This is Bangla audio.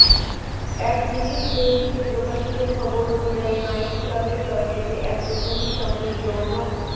এক ব্রিটিশ দৈনিকে প্রকাশিত খবর অনুযায়ী নাইট ক্লাবের টয়লেটে এক তরুণীর সঙ্গে যৌন